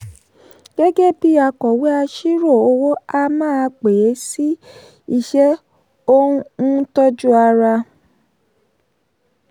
gẹ́gẹ́ bí akọ̀wé aṣírò owó a máa pe e sí iṣẹ́ ó ń tọ́jú ara.